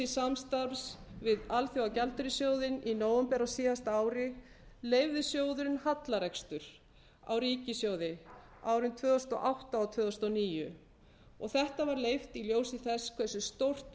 samstarfs við alþjóðagjaldeyrissjóðinn í nóvember á síðasta ári leyfði sjóðurinn hallarekstur á ríkissjóði árin tvö þúsund og átta og tvö þúsund og níu og þetta var leyft í ljósi þess hversu stórt